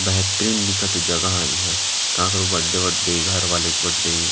बेहतरीन दिखथे जगह इंहा काकरो बड्डे वड़े घर वाले के बड्डे --